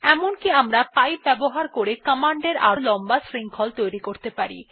এমনকি আমরা পাইপ ব্যবহার করে কমান্ড এর আরো লম্বা শৃঙ্খল তৈরী করতে পারি